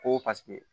Ko paseke